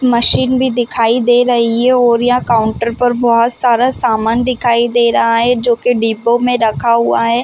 Machine भी दिखाई दे रही हैऔर यहाँ काउंटर पर बहुत सारा सामान दिखाई दे रहा है जो की डिब्बो में रखा हुआ है।